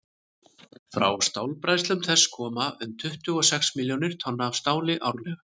frá stálbræðslum þess koma um tuttugu og sex milljónir tonna af stáli árlega